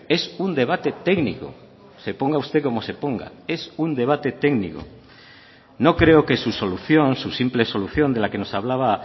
es un debate técnico se ponga usted como se ponga es un debate técnico no creo que su solución su simple solución de la que nos hablaba